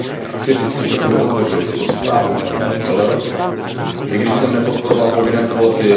Chci říct, že jsem podpořil tuto zprávu paní Kellerové, i když jsem nepodporoval povinné kvóty.